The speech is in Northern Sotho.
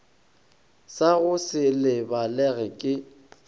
sa go se lebalege ke